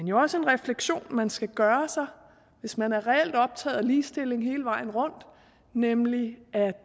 jo også en refleksion man skal gøre sig hvis man er reelt optaget af ligestilling hele vejen rundt nemlig at